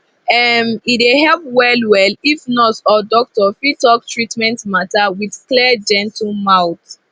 um e dey help wellwell if nurse or doctor fit talk treatment matter with clear gentle mouth